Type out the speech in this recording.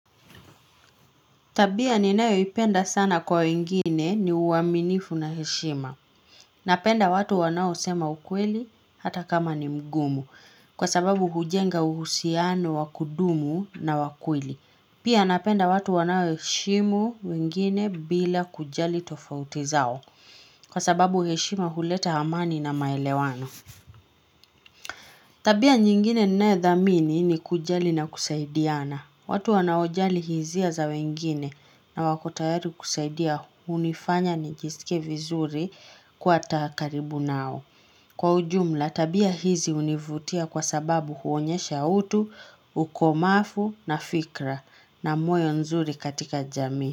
Tabia ni nayo ipenda sana kwa wengine ni uaminifu na heshima. Napenda watu wanaosema ukweli hata kama ni mgumu kwa sababu hujenga uhusiano wakudumu na wakweli. Pia napenda watu wanaoheshimu wengine bila kujali tofauti zao kwa sababu heshima huleta amani na maelewano. Tabia nyingine ninayo dhamini ni kujali na kusaidiana. Watu wanaojali hisia za wengine na wako tayari kusaidia hunifanya nijisike vizuri kuwa ata karibu nao. Kwa ujumla tabia hizi hunivutia kwa sababu huonyesha utu, ukomavu na fikra na moyo nzuri katika jamii.